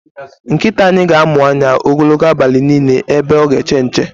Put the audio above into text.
Nkịta anyị ga amụ anya ogologo abalị niile ebe ọ ga eche nche